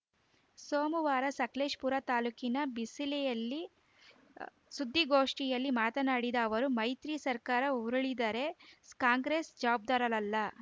ಸೋಮವಾರ ಸಕಲೇಶಪುರ ತಾಲೂಕಿನ ಬಿಸಿಲೆಯಲ್ಲಿ ಆ ಸುದ್ದಿಗೋಷ್ಠಿಯಲ್ಲಿ ಮಾತನಾಡಿದ ಅವರು ಮೈತ್ರಿ ಸರ್ಕಾರ ಉರುಳಿದರೆ ಕಾಂಗ್ರೆಸ್‌ ಜವಾಬ್ದಾರರಲ್ಲ